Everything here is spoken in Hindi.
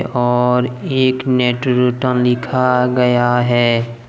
और एक नेट रिटर्न लिखा गया है।